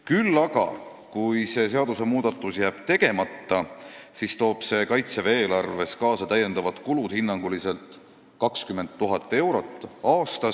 Kui aga see seadusmuudatus jääb tegemata, siis toob see Kaitseväe eelarvesse kaasa täiendavad kulud, hinnanguliselt 20 000 eurot aastas.